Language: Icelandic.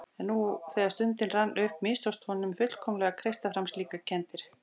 En nú þegar stundin rann upp mistókst honum fullkomlega að kreista fram slíkar kenndir.